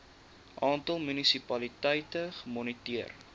aantal munisipaliteite gemoniteer